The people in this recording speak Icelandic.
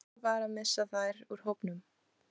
Hvernig var að missa þær úr hópnum?